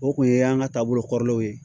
O kun ye an ka taabolo kɔrɔlaw ye